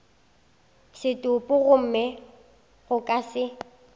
setopo gomme go ka se